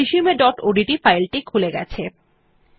resumeওডিটি ফাইল টি খুলে গেছে